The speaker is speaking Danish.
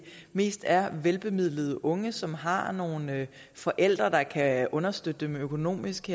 mest er velbemidlede unge som har nogle forældre der kan understøtte dem økonomisk